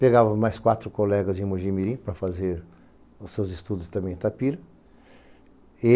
Pegávamos mais quatro colegas de Mogi mirim para fazer os seus estudos também em Itapira.